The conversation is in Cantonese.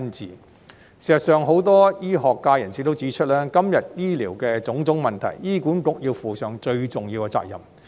事實上，很多醫學界人士也指出，今天醫療的種種問題，醫管局要負上最重要的責任。